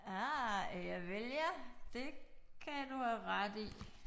Øh javel ja det kan du have ret i